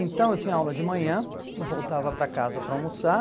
Então eu tinha aula de manhã, voltava para casa para almoçar,